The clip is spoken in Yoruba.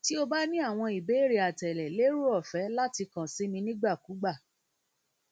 ti o ba ni awọn ibeere atẹle lero ọfẹ lati kan si mi nigbakugba mi nigbakugba